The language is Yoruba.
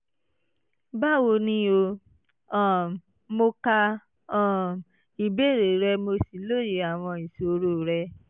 báwo ni o? um mo ka um ìbéèrè rẹ mo sì lóye àwọn ìṣòro rẹ